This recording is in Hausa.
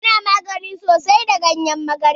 Ana magani da sosai da ganyen magarya.